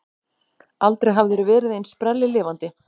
Aldrei hafðirðu verið eins sprelllifandi.